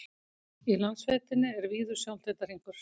í landsveitinni er víður sjóndeildarhringur